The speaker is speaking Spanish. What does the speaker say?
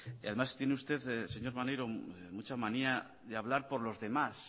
y además tiene usted señor maneiro mucha manía de hablar por los demás